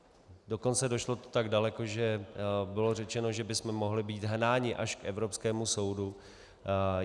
Dokonce to došlo tak daleko, že bylo řečeno, že bychom mohli být hnáni až k evropskému soudu.